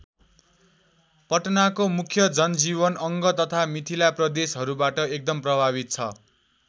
पटनाको मुख्य जनजीवन अङ्ग तथा मिथिला प्रदेशहरूबाट एकदम प्रभावित छ।